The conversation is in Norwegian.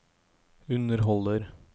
underholder